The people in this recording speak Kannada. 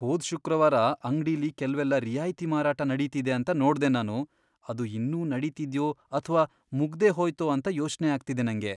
ಹೋದ್ ಶುಕ್ರವಾರ ಅಂಗ್ಡಿಲಿ ಕೆಲ್ವೆಲ್ಲ ರಿಯಾಯ್ತಿ ಮಾರಾಟ ನಡೀತಿದೆ ಅಂತ ನೋಡ್ದೆ ನಾನು. ಅದು ಇನ್ನೂ ನಡೀತಿದ್ಯೋ ಅಥ್ವಾ ಮುಗ್ದೇಹೋಯ್ತೋ ಅಂತ ಯೋಚ್ನೆ ಆಗ್ತಿದೆ ನಂಗೆ.